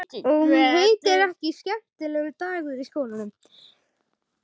Og hún heitir ekki Skemmtilegur dagur í skólanum.